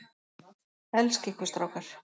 Elska ykkur strákar.